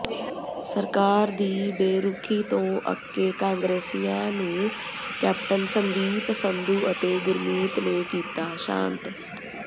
ਸਰਕਾਰ ਦੀ ਬੇਰੁਖੀ ਤੋਂ ਅੱਕੇ ਕਾਂਗਰਸੀਆਂ ਨੂੰ ਕੈਪਟਨ ਸੰਦੀਪ ਸੰਧੂ ਅਤੇ ਗੁਰਮੀਤ ਨੇ ਕੀਤਾ ਸ਼ਾਂਤ